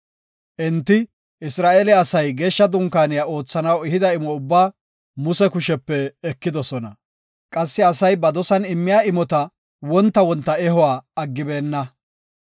Enti, Isra7eele asay Geeshsha Dunkaaniya oothanaw ehida imo ubbaa Muse kushepe ekidosona. Qassi asay ba dosan immiya imota wonta wonta ehuwa aggibokona.